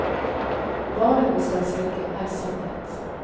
Varen vi skal selge, er sannhet.